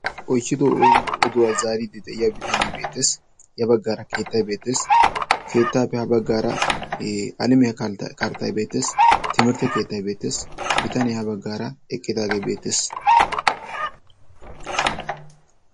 oychchido oduwaa zaariiddi de'iya bitanee beettees. ya baggaara keettai beetees keettaape ha baggaara alamiyaa karttay beettees. timirtte keettai beetees bitaniyaa ha baggaara eqqitaagee beettees.